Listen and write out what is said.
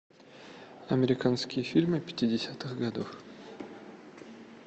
американские фильмы пятидесятых годов